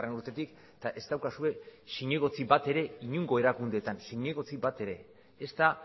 urtetik eta ez daukazue zinegotzi bat ere inongo erakundeetan zinegotzi bat ere ezta